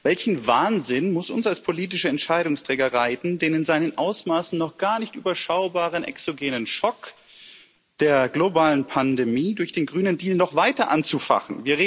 Welcher Wahnsinn muss uns als politische Entscheidungsträger reiten, den in seinen Ausmaßen noch gar nicht überschaubaren exogenen Schock der globalen Pandemie durch den Grünen Deal noch weiter anzufachen?